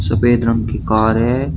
सफेद रंग की कार है।